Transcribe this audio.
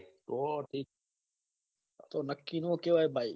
તો ઠીક નક્કી ના કહવાય ભાઈ